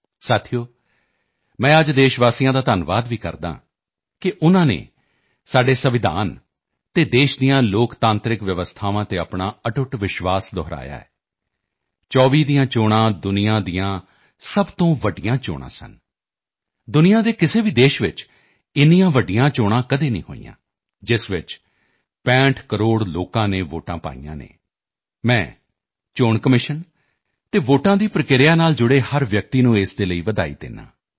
ਸਾਥੀਓ ਮੈਂ ਅੱਜ ਦੇਸ਼ਵਾਸੀਆਂ ਦਾ ਧੰਨਵਾਦ ਵੀ ਕਰਦਾ ਹਾਂ ਕਿ ਉਨ੍ਹਾਂ ਨੇ ਸਾਡੇ ਸੰਵਿਧਾਨ ਅਤੇ ਦੇਸ਼ ਦੀਆਂ ਲੋਕਤਾਂਤਰਿਕ ਵਿਵਸਥਾਵਾਂ 'ਤੇ ਆਪਣਾ ਅਟੁੱਟ ਵਿਸ਼ਵਾਸ ਦੁਹਰਾਇਆ ਹੈ 24 ਦੀਆਂ ਚੋਣਾਂ ਦੁਨੀਆ ਦੀਆਂ ਸਭ ਤੋਂ ਵੱਡੀਆਂ ਚੋਣਾਂ ਸਨ ਦੁਨੀਆ ਦੇ ਕਿਸੇ ਵੀ ਦੇਸ਼ 'ਚ ਇੰਨੀਆਂ ਵੱਡੀਆਂ ਚੋਣਾਂ ਕਦੇ ਨਹੀਂ ਹੋਈਆਂ ਜਿਸ 'ਚ 65 ਕਰੋੜ ਲੋਕਾਂ ਨੇ ਵੋਟਾਂ ਪਾਈਆਂ ਹਨ ਮੈਂ ਚੋਣ ਕਮਿਸ਼ਨ ਅਤੇ ਵੋਟਾਂ ਦੀ ਪ੍ਰਕਿਰਿਆ ਨਾਲ ਜੁੜੇ ਹਰ ਵਿਅਕਤੀ ਨੂੰ ਇਸ ਦੇ ਲਈ ਵਧਾਈ ਦਿੰਦਾ ਹਾਂ